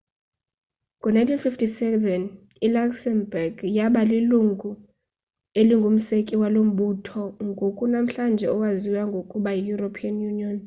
ngo-1957 iluxembourg yaba lilungu elingumseki walo mbutho ngoku namhlanje owaziwa ngokuba yieuropean union